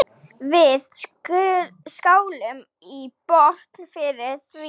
Við skálum í botn fyrir því.